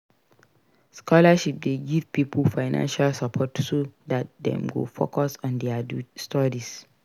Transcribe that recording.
Scholarship de give pipo financial support so that dem go focus on their studies